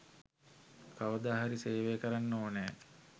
කවදා හරි සේවය කරන්න ඕනෑ